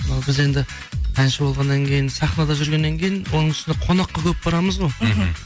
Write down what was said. мынау біз енді әнші болғаннан кейін сахнада жүргеннен кейін оның үстіне қонаққа көп барамыз ғой мхм